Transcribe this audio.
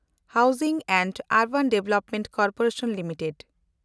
housing and urban development corporation limited